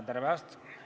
Tere päevast!